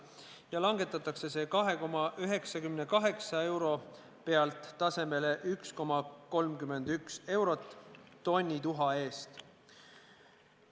See langetataks tasemelt 2,98 eurot tasemele 1,31 eurot tonni tuha eest.